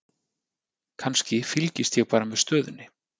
Kannski, fylgist ég bara með stöðunni?